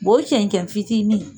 o cɛncɛn fitinin